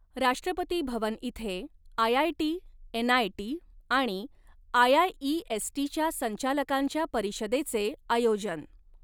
राष्ट्रपती भवन इथे IIT, NIT आणि आयआयइएसटीच्या संचालकांच्या परिषदेचे आयोजन